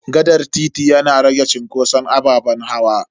Gaɗar titi yana rage cunkoson ababen hawa.